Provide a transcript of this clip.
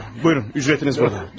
Buyurun, ücretiniz burada.